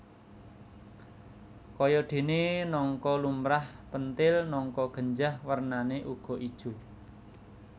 Kayadéné nangka lumrah pentil nangka genjah wernané uga ijo